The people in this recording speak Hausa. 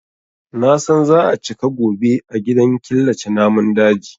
Na san za a cika gobe a gidan killace namun daji.